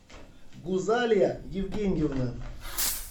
гузалия евгеньевна